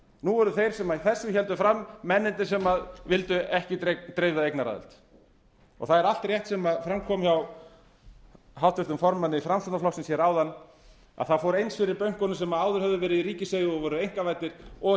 nú eru þeir sem þessu héldu fram mennirnir sem vildu ekki dreifða eignaraðild það er allt rétt sem fram kom hjá háttvirtum formanni framsóknarflokksins áðan að það fór eins fyrir bönkunum sem áður höfðu verið í einkaeigu og voru ríkisvæddir og